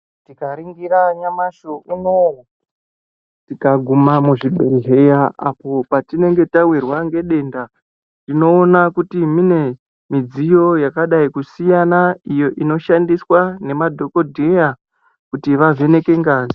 Tikaringira nyamashi unowu tikaguma muzvibhedhlera apo patonenge tawirwa ngedenda tinoona kuti mune midziyo yakadai kusiyana iyo inoshandiswa nemadhokodheya kuti vavheneke ngazi.